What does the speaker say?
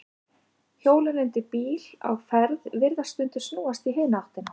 Hjólin undir bíl á ferð virðast stundum snúast í hina áttina.